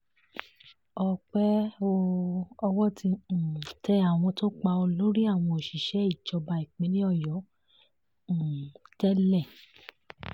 ọpẹ́ o owó ti um tẹ àwọn tó pa olórí àwọn òṣìṣẹ́ ìjọba ìpínlẹ̀ ọ̀yọ́ um tẹ́lẹ̀